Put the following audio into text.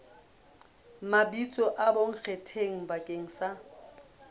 mabitso a bonkgetheng bakeng sa